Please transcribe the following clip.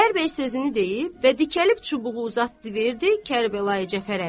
Xudayar bəy sözünü deyib və dikəlib çubuğu uzatdı verdi Kərbəlayi Cəfər əmiyə.